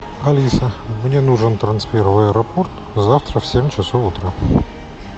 алиса мне нужен трансфер в аэропорт завтра в семь часов утра